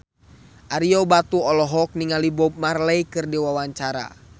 Ario Batu olohok ningali Bob Marley keur diwawancara